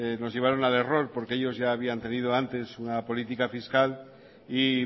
nos llevaron al error porque ellos ya habían tenido antes una política fiscal y